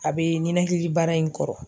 A bɛ ninakili bara in kɔrɔ.